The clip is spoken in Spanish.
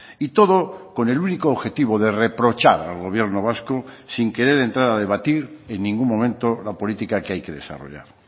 y todo con el único objetivo de reprochar al gobierno vasco sin querer entrar a debatir en ningún momento la política que hay que desarrollar